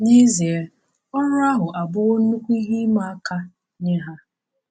N’ezie, ọrụ ahụ abụwo nnukwu ihe ịma aka nye ha.